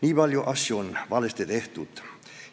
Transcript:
Nii palju asju on valesti tehtud!